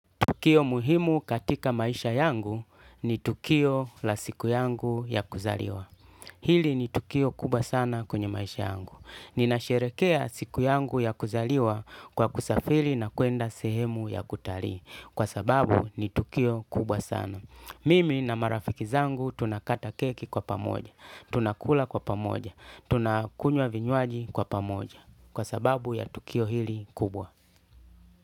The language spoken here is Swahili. Tukio muhimu katika maisha yangu ni tukio la siku yangu ya kuzaliwa. Hili ni tukio kubwa sana kwenye maisha yangu. Ninasherehekea siku yangu ya kuzaliwa kwa kusafiri na kwenda sehemu ya kutalii. Kwa sababu ni tukio kubwa sana. Mimi na marafiki zangu tunakata keki kwa pamoja. Tunakula kwa pamoja. Tunakunywa vinywaji kwa pamoja. Kwa sababu ya tukio hili kubwa.